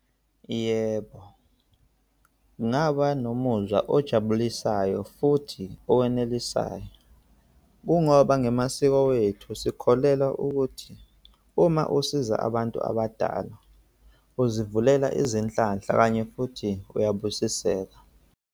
Yebo, ngaba nomuzwa ojabulisayo futhi owanelisayo, kungoba ngamasiko wethu, sikholelwa ukuthi uma usiza abantu abadala uzivulela, izinhlanhla okanye futhi uyabusiseka.